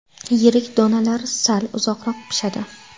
Yirik donalar sal uzoqroq pishadi.